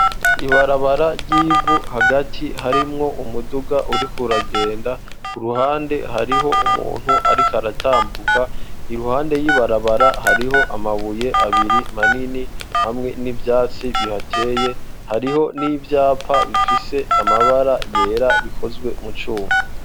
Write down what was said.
Ibarabara ry'ivu hagati harimwo umuduga urikuragenda ku ruhande hariho umuntu ariko aratambuka iruhande y'ibarabara hariho amabuye abiri manini hamwe n'ivyatsi bihateye hariho n'ivyapa bifise amabara yera bikozwe mu cuma.